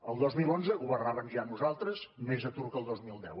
el dos mil onze governàvem ja nosaltres més atur que el dos mil deu